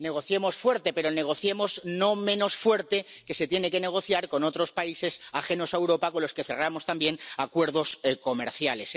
Negociemos fuerte, pero negociemos no menos fuerte de lo que se tiene que negociar con otros países ajenos a Europa con los que cerramos también acuerdos comerciales.